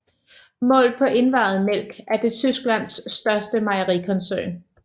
Målt på indvejet mælk er det Tysklands største mejerikoncern